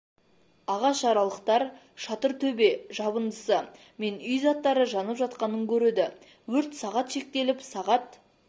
ағаш аралықтар шатыр төбе жабындысы мен үй заттары жанып жатқанын көреді өрт сағат шектеліп сағат